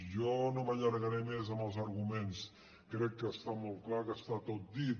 jo no m’allargaré més amb els arguments crec que està molt clar que està tot dit